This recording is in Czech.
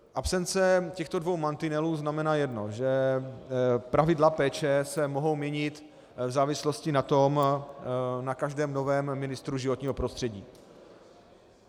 Absence těchto dvou mantinelů znamená jedno, že pravidla péče se mohou měnit v závislosti na každém novém ministru životního prostředí.